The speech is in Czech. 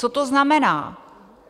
Co to znamená?